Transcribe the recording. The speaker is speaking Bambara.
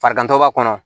Farigantɔ b'a kɔnɔ